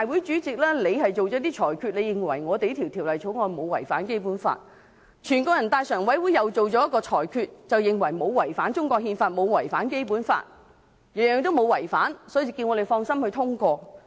雖然立法會主席作出裁決，認為《條例草案》沒有違反《基本法》，全國人民代表大會常務委員會也作出裁決，認為沒有違反中國憲法、沒有違反《基本法》，全部沒有違反，所以叫我們放心通過。